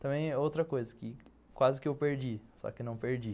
Também outra coisa que quase que eu perdi, só que não perdi.